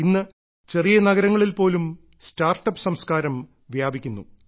ഇന്ന് ചെറിയ നഗരങ്ങളിൽ പോലും സ്റ്റാർട്ടപ്പ് സംസ്കാരം വ്യാപിക്കുന്നു